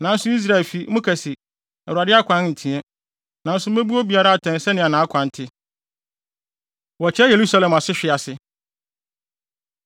Nanso Israelfi, moka se, ‘Awurade akwan nteɛ.’ Nanso mebu obiara atɛn sɛnea nʼakwan te.” Wɔkyerɛ Yerusalem Asehwe Ase